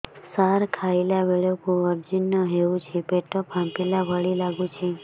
ସାର ଖାଇଲା ବେଳକୁ ଅଜିର୍ଣ ହେଉଛି ପେଟ ଫାମ୍ପିଲା ଭଳି ଲଗୁଛି